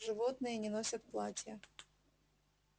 животные не носят платья